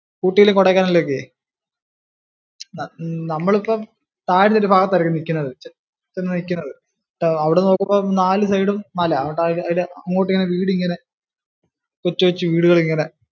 ഊട്ടിയിലും കൊടൈക്കനാലിലും ഒക്കെ നമ്മളിപ്പം താഴെ ഒരു ഭാഗത്തായിരിക്കും നിൽക്കുന്നത് നിൽക്കുന്നത് അവിടുന്ന് നോക്കുമ്പം നാലു side ഉം മല. അങ്ങോട്ട് നോക്കിയാ വീടിങ്ങനെ കൊച്ചു കൊച്ചു വീടുകൾ ഇങ്ങനെ